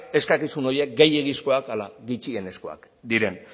eskakizun horiek gehiegizkoak ala gutxienekoak diren